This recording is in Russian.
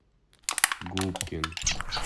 губкин